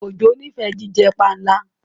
Ojo n'ifẹ jíjẹ panla.